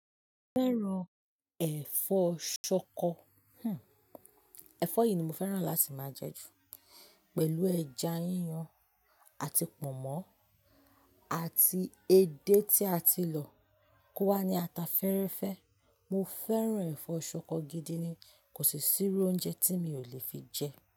Mo fẹ́ràn ẹ̀fọ́ ṣọkọ, ẹfọ́ yìí ni mo fẹ́ràn láti máa jẹ ju pẹ̀lú ẹja yíyan àti pọ̀nmọ́ àti edé tí a ti lọ, kó wá ní ata fẹ́rẹ́fẹ́. Mo fẹ́ràn ẹ̀fọ́ ṣọkọ gidi ni kò sì siru oúnjẹ tí mi ò lè fi jẹ.